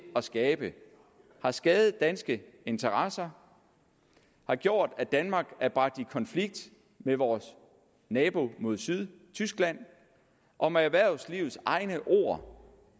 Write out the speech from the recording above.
at skabe har skadet danske interesser har gjort at danmark er bragt i konflikt med vores nabo mod syd tyskland og med erhvervslivets egne ord